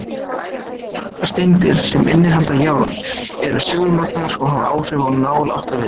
Nokkrar steindir, sem innihalda járn, eru segulmagnaðar og hafa áhrif á nál áttavita.